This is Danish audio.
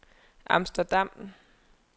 Amsterdam